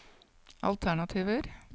alternativer